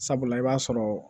Sabula i b'a sɔrɔ